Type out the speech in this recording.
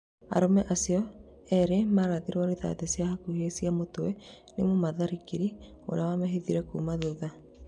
Arũme acio erĩ marathirwo rithathi cia hakuhĩ cia mũtwe nĩ mũmatharĩkĩri ũrĩa wamehithĩire kuuma thutha